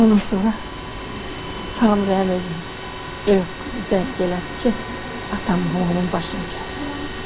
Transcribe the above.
Ondan sonra Samirənin özü böyük qızı zəng elədi ki, atam mamamın başını kəsib.